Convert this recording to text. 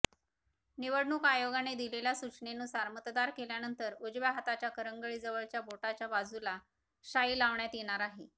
निवडणूक आयोगाने दिलेल्या सूचनेनुसार मतदान केल्यानंतर उजव्या हाताच्या करंगळीच्या बाजूच्या बोटाला शाई लावण्यात येणार आहे